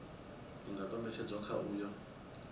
i nga kombetshedzwa kha uyo